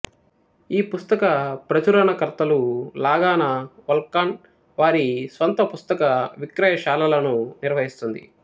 ఈ పుస్తక ప్రచురణకర్తలు లాగాన వల్కాన్ వారి స్వంత పుస్తకవిక్రయశాలలను నిర్వహిస్తుంది